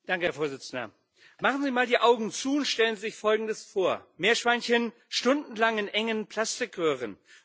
Herr Präsident! Machen Sie mal die Augen zu und stellen sich Folgendes vor Meerschweinchen stundenlang in engen Plastikröhren